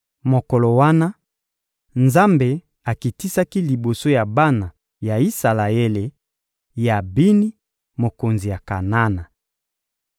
Mokolo wana, Nzambe akitisaki liboso ya bana ya Isalaele, Yabini, mokonzi ya Kanana.